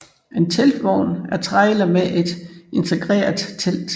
En teltvogn er trailer med et integreret telt